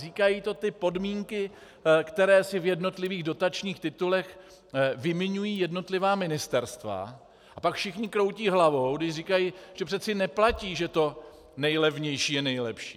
Říkají to ty podmínky, které si v jednotlivých dotačních titulech vymiňují jednotlivá ministerstva, a pak všichni kroutí hlavou, když říkají, že přece neplatí, že to nejlevnější je nejlepší.